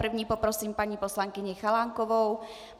První poprosím paní poslankyni Chalánkovou.